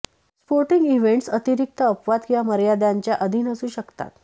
sporting events अतिरिक्त अपवाद किंवा मर्यादांच्या अधीन असू शकतात